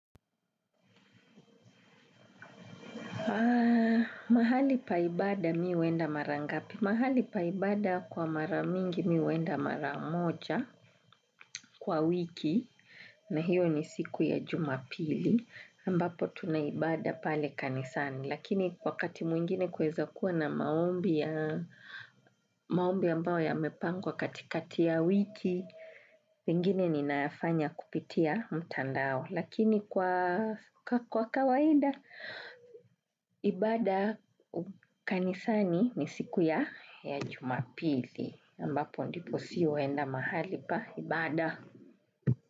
Ah, mahali pa ibada mimi huenda mara ngapi. Mahali pa ibada kwa mara mingi mi huenda mara moja kwa wiki na hiyo ni siku ya Jumapili ambapo tuna ibada pale kanisani. Lakini wakati mwingine kwaweza kuwa na maombi ambayo yamepangwa katikati ya wiki, mengine ninayafanya kupitia mtandao. Lakini kwa kawaida, ibada kanisani ni siku ya ya Jumapili. Ambapo ndipo si huenda mahali pa ibada.